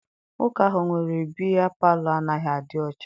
Nwoke ahụ nwere bịya palọ anaghị adị ọcha.